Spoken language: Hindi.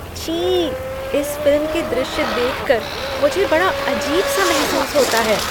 छी! इस फिल्म के दृश्य देख कर मुझे बड़ा अजीब सा महसूस होता है।